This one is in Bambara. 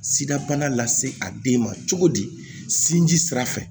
Sida bana lase a den ma cogo di sinji sira fɛ